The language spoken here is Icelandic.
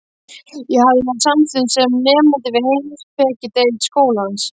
Ég hafði verið samþykkt sem nemandi við heimspekideild skólans.